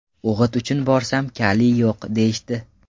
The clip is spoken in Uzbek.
O‘g‘it uchun borsam, kaliy yo‘q, deyishdi.